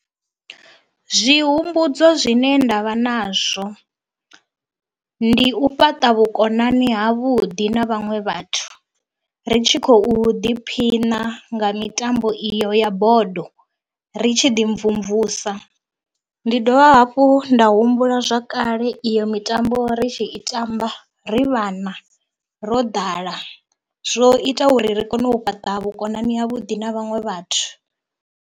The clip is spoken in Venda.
Zwihumbudzo zwine nda vha nazwo, ndi u fhaṱa vhukonani havhuḓi na vhaṅwe vhathu ri tshi khou ḓiphina nga mitambo iyo ya Bodo, ri tshi ḓi mvumvusa. Ndi dovha hafhu nda humbula zwa kale iyo mitambo ri tshi i tamba ri vhana, ro ḓala, zwo ita uri ri kone u fhaṱa vhukonani havhuḓi na vhaṅwe vhathu.